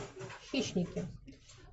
хищники